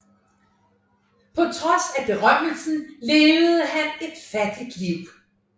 På trods af berømmelsen levede han et fattigt liv